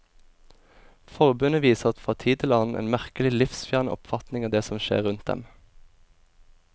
Forbundet viser fra tid til annen en merkelig livsfjern oppfatning av det som skjer rundt dem.